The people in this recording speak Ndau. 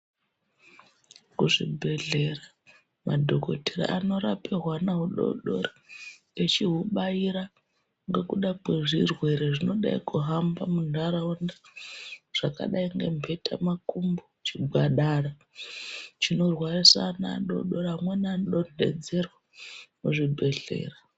Kuzvibhedhlera madhokodheya anorapa hwana hudodori vachihubaira nekuda kuzvirwira zvinoda kuhamba kundaraunda zvakadai membeta makumbo Zvakadai dai zvinorwarisa vana vadodori vamweni vanoda kuzodzerwa kuzvibhedhlera.